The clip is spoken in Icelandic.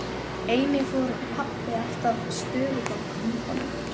Einnig fór pabbi alltaf stofugang með honum.